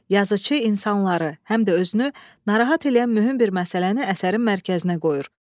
Yazıçı insanları, həm də özünü narahat eləyən mühüm bir məsələni əsərin mərkəzinə qoyur.